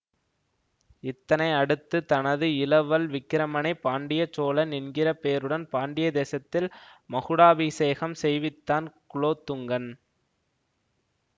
இத்தனை அடுத்து தனது இளவல் விக்கிரமனை பாண்டிய சோழன் என்கிற பேருடன் பாண்டிய தேசத்தில் மகுடாபிஷேகம் செய்வித்தான் குலோத்துங்கன்